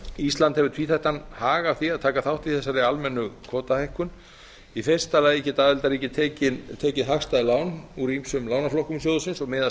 ísland hefur tvíþættan hag af því að taka þátt í þessari almennu kvótahækkun í fyrsta lagi geta aðildarríki tekið hagstæð lán úr ýmsum lánaflokkum sjóðsins og miðast